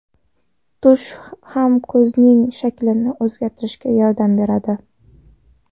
Tush ham ko‘zning shaklini o‘zgartirishga yordam beradi.